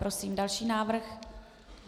Prosím další návrh.